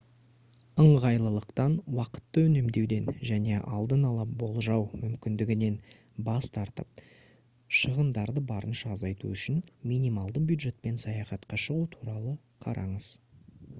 ыңғайлылықтан уақытты үнемдеуден және алдын ала болжау мүмкіндігінен бас тартып шығындарды барынша азайту үшін минималды бюджетпен саяхатқа шығу туралы қараңыз